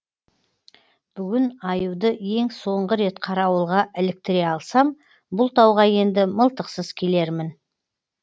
бүгін аюды ең соңғы рет қарауылға іліктіре алсам бұл тауға енді мылтықсыз келермін